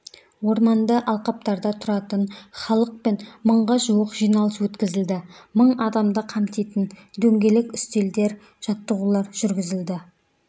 орманды алқаптарда тұратын халықпен мыңға жуық жиналыс өткізілді мың адамды қамтитын дөңгелек үстелдер жаттығулар жүргізілді